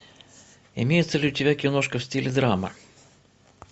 имеется ли у тебя киношка в стиле драма